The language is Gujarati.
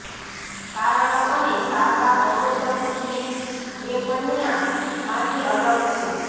કારણો અને સારવાર અવરોધક સ્લીપ એપનિયા માંથી અલગ છે